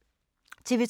TV 2